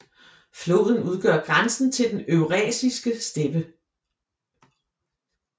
Floden udgør grænsen til den eurasiske steppe